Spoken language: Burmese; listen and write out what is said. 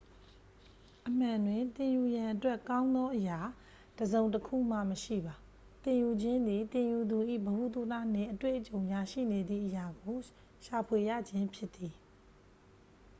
အမှန်တွင် သင်ယူရန်အတွက် ကောင်းသောအရာ တစ်စုံတစ်ခုမှ မရှိပါ သင်ယူခြင်းသည် သင်ယူသူ၏ ဗဟုသုတနှင့် အတွေ့အကြုံကြားရှိနေသည့် အရာကို ရှာဖွေရခြင်းဖြစ်သည်